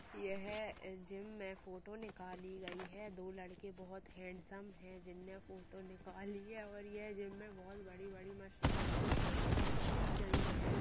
यह जिम मे फोटो निकाली गई है दो लड़के बहोत (बहुत) हेंडसम हैं जिनने फ़ोटो निकाली हैऔर ये जिम मे बहोत (बहुत) बड़ी-बड़ी मशीना रखी गई हैं ।